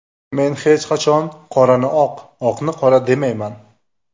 Men hech qachon qorani oq, oqni qora demayman.